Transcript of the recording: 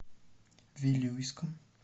вилюйском